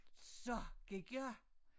Så gik jeg